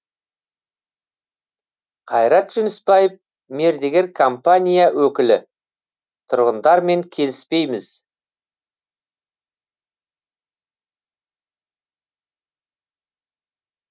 қайрат жүнісбаев мердігер компания өкілі тұрғындармен келіспейміз